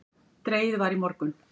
Dregið var í morgun